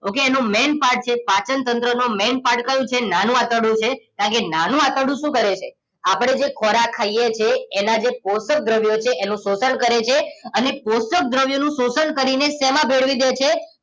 Okay એનો main part છે પાચનતંત્ર નો main part કયો છે નાનું આંતરડું છે કારણ કે નાનું આંતરડું શું કરે છે આપણે જે ખોરાક ખાઈએ છીએ એના જે પોષક દ્રવ્યો છે એનું શોષણ કરે છે અને પોષક દ્રવ્યોનું શોષણ કરીને શેમાં ભેળવી દે છે